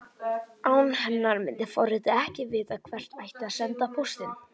Án hennar myndi forritið ekki vita hvert ætti að senda póstinn.